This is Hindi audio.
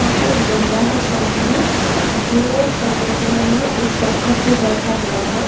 यहाँ पे एक बंदा है सामने जो समंदर में एक पत्थर पर बैठा हुआ है।